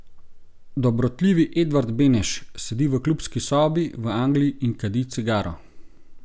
Dobrotljivi Edvard Beneš sedi v klubski sobi, v Angliji, in kadi cigaro.